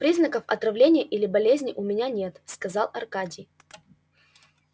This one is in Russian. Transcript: признаков отравления или болезни у меня нет сказал аркадий